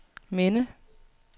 minde